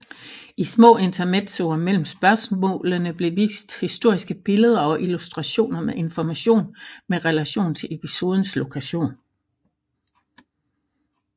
I små intermezzoer mellem spørgsmålene blev vist historiske billede og illustrationer med information med relation til episodens lokation